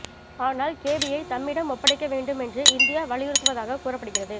ஆனால் கேபியை தம்மிடம் ஒப்படைக்க வேண்டும் என்று இந்தியா வலியுறுத்துவதாகக் கூறப்படுகிறது